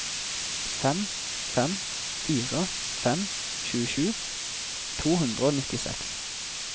fem fem fire fem tjuesju to hundre og nittiseks